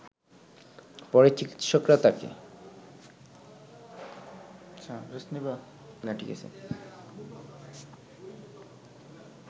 পরে চিকিৎসকরা তাকে